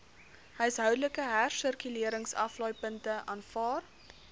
huishoudelike hersirkuleringsaflaaipunte aanvaar